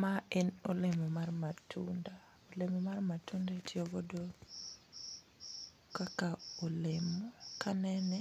Ma en olemo mar matunda olemo mar matunda itiyo godo kaka olemo. Kanene